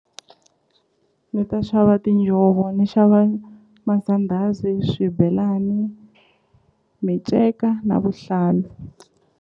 Ni ta xava tinjhovo ni xava masandhazi swibelani minceka na vuhlalu.